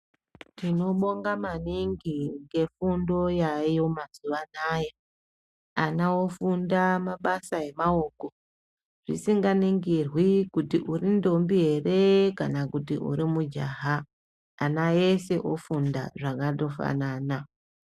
Tinobonga maningi ngefundo yayo mazuwaanaya, ana ofunda mabasa emaoko, zvisinganingirwi kuti uri ntombi ere kana kuti uri mujaha, ana ese ofunda zvakandofanana.